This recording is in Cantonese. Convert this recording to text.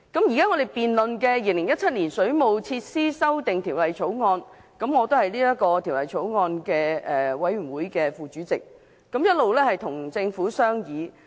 現在我們辯論的是《2017年水務設施條例草案》，我是相關法案委員會副主席，並一直跟政府進行商議。